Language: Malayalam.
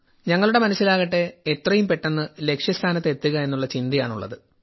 ഞങ്ങളുടെ മനസ്സിലാകട്ടെ എത്രയും പെട്ടെന്ന് ലക്ഷ്യസ്ഥാനത്ത് എത്തുക എന്നുള്ള ചിന്തയാണ് ഉള്ളത്